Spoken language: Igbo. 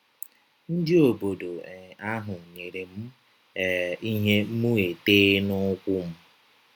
Ndị ọbọdọ um ahụ nyere m um ihe mụ etee n’ụkwụ m.